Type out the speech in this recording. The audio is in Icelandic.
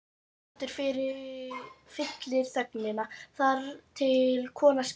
Hjartsláttur fyllir þögnina, þar til konan spyr